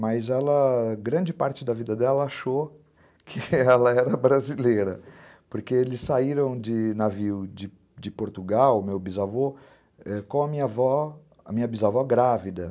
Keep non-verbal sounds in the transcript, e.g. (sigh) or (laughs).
mas ela, grande parte da vida dela, achou (laughs) que ela era brasileira, porque eles saíram de navio de Portugal, meu bisavô, com a minha avó, a minha bisavó grávida.